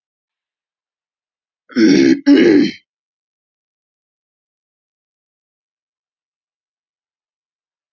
Menn virða álagabletti.